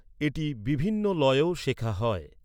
এটি বিভিন্ন লয়েও শেখা হয়।